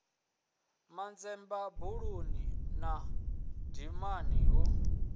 manzemba buluni na dimani hu